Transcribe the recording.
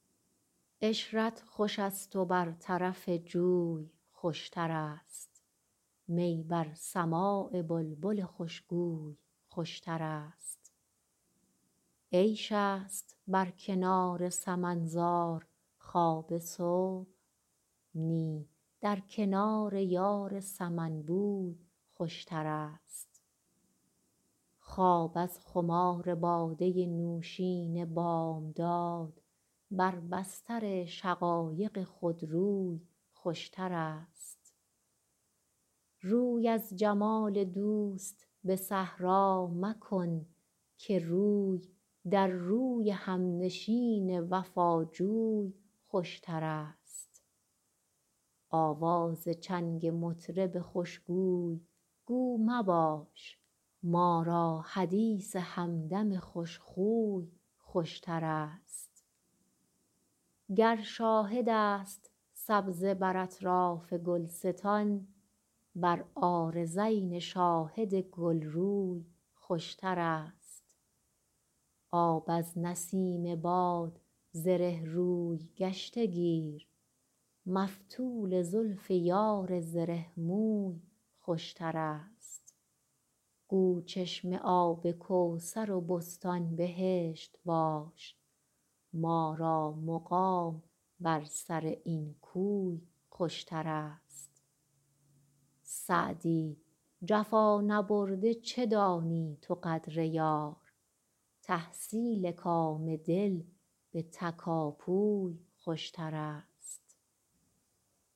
عشرت خوش است و بر طرف جوی خوشترست می بر سماع بلبل خوشگوی خوشترست عیش است بر کنار سمن زار خواب صبح نی در کنار یار سمن بوی خوشترست خواب از خمار باده نوشین بامداد بر بستر شقایق خودروی خوشترست روی از جمال دوست به صحرا مکن که روی در روی همنشین وفاجوی خوشترست آواز چنگ مطرب خوشگوی گو مباش ما را حدیث همدم خوشخوی خوشترست گر شاهد است سبزه بر اطراف گلستان بر عارضین شاهد گلروی خوشترست آب از نسیم باد زره روی گشته گیر مفتول زلف یار زره موی خوشترست گو چشمه آب کوثر و بستان بهشت باش ما را مقام بر سر این کوی خوشترست سعدی جفا نبرده چه دانی تو قدر یار تحصیل کام دل به تکاپوی خوشترست